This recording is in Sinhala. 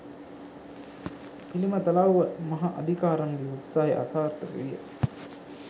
පිළිමතලව්ව මහා අදිකාරම්ගේ උත්සාහය අසාර්ථක විය.